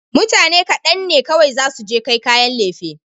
Mutane kaɗan ne kawai zasu je kai kayan lefe.